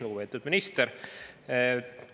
Lugupeetud minister!